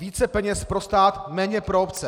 Více peněz pro stát, méně pro obce.